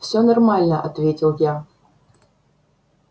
все нормально ответил я